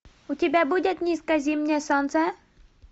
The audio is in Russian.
у тебя будет низкое зимнее солнце